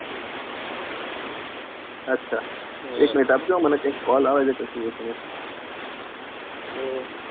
એમ minute આપજોમને કાયિક call આવે છે મને કે શું હે